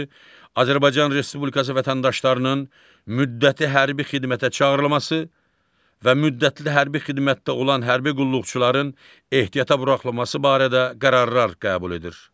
Azərbaycan Respublikası vətəndaşlarının müddəti hərbi xidmətə çağırılması və müddətli hərbi xidmətdə olan hərbi qulluqçuların ehtiyata buraxılması barədə qərarlar qəbul edir.